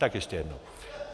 Tak ještě jednou.